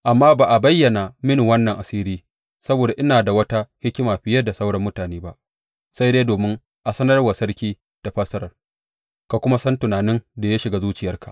Amma ba a bayyana mini wannan asiri saboda ina da wata hikima fiye da sauran mutane ba, sai dai domin a sanar wa sarki da fassarar, ka kuma san tunanin da ya shiga zuciyarka.